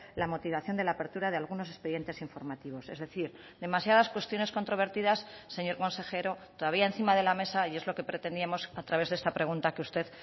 la motivación de la apertura de algunos expedientes informativos es decir demasiadas cuestiones controvertidas señor consejero todavía encima de la mesa y es lo que pretendíamos a través de esta pregunta que usted